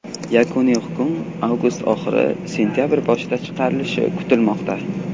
Yakuniy hukm avgust oxiri sentabr boshida chiqarilishi kutilmoqda.